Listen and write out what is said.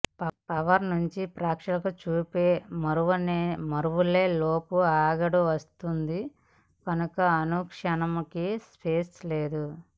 power నుంచి ప్రేక్షకుల చూపు మరలే లోపు ఆగడు వస్తుంది కనుక అనుక్షణంకి స్పేస్ లేదు